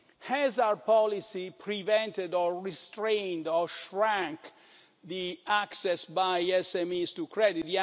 Has our policy prevented, restrained, or shrunk access by SMEs to credit?